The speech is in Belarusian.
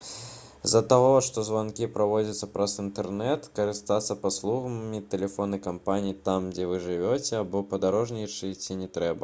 з-за таго што званкі праводзяцца праз інтэрнэт карыстацца паслугамі тэлефоннай кампаніі там дзе вы жывяце або падарожнічаеце не трэба